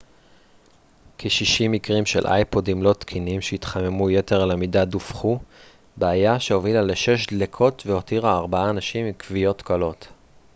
כ-60 מקרים של אייפודים לא תקינים שהתחממו יתר על המידה דווחו בעיה שהובילה לשש דליקות והותירה ארבעה אנשים עם כוויות קלות